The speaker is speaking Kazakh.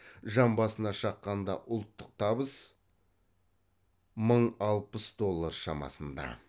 жан басына шаққанда ұлттық табыс мың алпыс доллар шамасында